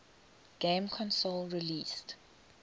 game console released